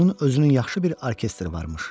Onun özünün yaxşı bir orkestri varmış.